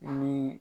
Ni